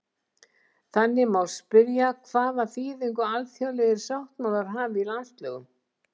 Þannig má spyrja hvaða þýðingu alþjóðlegir sáttmálar hafi í landslögum.